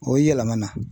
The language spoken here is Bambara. O ye yɛlɛmana